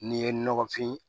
N'i ye nɔgɔfin